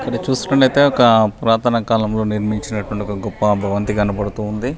ఇది చూస్తునత్తతే ఒక పురాతన కాలం లో నిర్మించినటువంటి ఒక గొప్ప భవంతి కనబడుతు ఉంది.